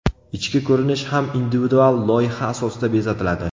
Ichki ko‘rinish ham individual loyiha asosida bezatiladi.